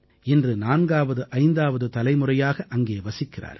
இன்று 4ஆவது 5ஆவது தலைமுறையாக அங்கே வசிக்கிறார்கள்